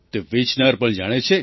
તે વેચનાર પણ જાણે છે